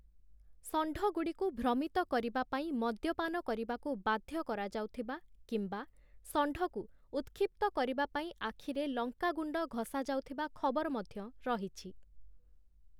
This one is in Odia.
ଷଣ୍ଢଗୁଡ଼ିକୁ ଭ୍ରମିତ କରିବା ପାଇଁ ମଦ୍ୟପାନ କରିବାକୁ ବାଧ୍ୟ କରାଯାଉଥିବା କିମ୍ବା ଷଣ୍ଢକୁ ଉତ୍‌କ୍ଷିପ୍ତ କରିବା ପାଇଁ ଆଖିରେ ଲଙ୍କାଗୁଣ୍ଡ ଘଷାଯାଉଥିବା ଖବର ମଧ୍ୟ ରହିଛି ।